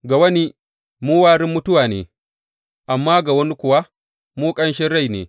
Ga wani, mu warin mutuwa ne, amma ga wani kuwa, mu ƙanshin rai ne.